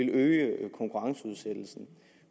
øge konkurrenceudsættelsen